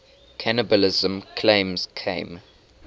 cannibalism claims came